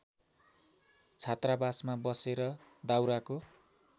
छात्रावासमा बसेर दाउराको